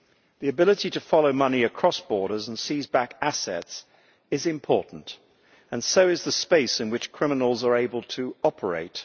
The ability to follow money across borders and seize back assets is important, and so is the space in which criminals are able to operate.